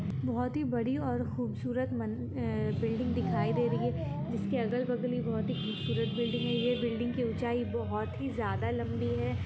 बहुत ही बड़ी और खूबसूरत मन अ बिल्डिंग दिखाई दे रही है जिसके अगल-बगल ही बहोत ही खूबसूरत बिल्डिंग हैं ये बिल्डिंग की ऊंचाई बहोत ही ज़्यादा लंबी है।